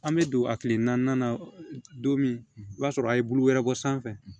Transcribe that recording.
An bɛ don a kile naaninan don min i b'a sɔrɔ a ye bulu wɛrɛ bɔ sanfɛ